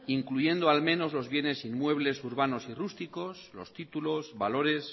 incluyendo al menos los bienes inmuebles urbanos y rústicos los títulos valores